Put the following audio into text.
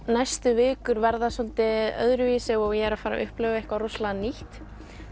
næstu vikur verði svolítið öðruvísi og ég er að fara að upplifa eitthvað rosalega nýtt